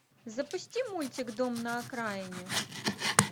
запусти мультик дом на окраине